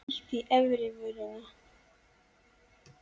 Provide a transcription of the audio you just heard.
Bít í efri vörina.